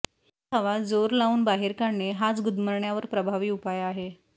ती हवा जोर लावून बाहेर काढणे हाच गुदमरण्यावर प्रभावी उपाय आहे